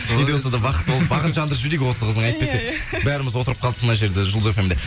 не де болса да бақытты болып бағын жандырып жіберейік осы қыздың әйтпесе бәріміз отырып қалдық мына жерде жұлдыз фмде